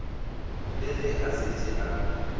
le ge a šetše a